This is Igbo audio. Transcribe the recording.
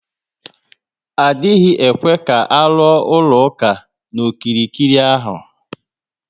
Adịghị ekwe ka aluo ụlọ ụka na okirikiri ahụ